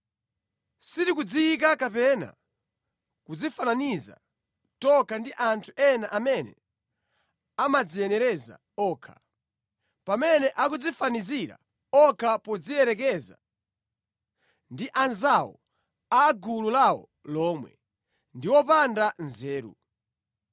Sitikudziyika kapena kudzifananiza tokha ndi anthu ena amene amadziyenereza okha. Pamene akudzifanizira okha podziyerekeza ndi anzawo a mʼgulu lawo lomwe, ndi opanda nzeru.